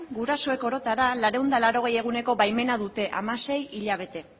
gurasoek orotara laurehun eta laurogei eguneko baimena dute hamasei hilabete